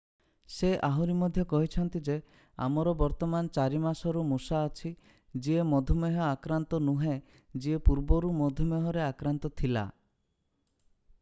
ସେ ଆହୁରି ମଧ୍ୟ କହିଛନ୍ତି ଯେ ଆମର ବର୍ତ୍ତମାନ 4 ମାସର ମୂଷା ଅଛି ଯିଏ ମଧୁମେହ ଆକ୍ରାନ୍ତ ନୁହେଁ ଯିଏ ପୂର୍ବରୁ ମଧୁମେହରେ ଆକ୍ରାନ୍ତ ଥିଲା